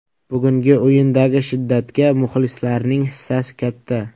Bugungi o‘yindagi shiddatga muxlislarning hissasi katta.